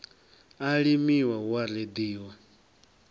a limiwa hu a reḓiwa